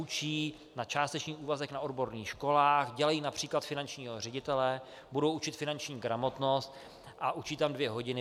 Učí na částečný úvazek na odborných školách, dělají například finančního ředitele, budou učit finanční gramotnost a učí tam dvě hodiny.